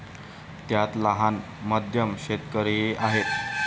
त्यात लहान, मध्यम शेतकरीही आहेत.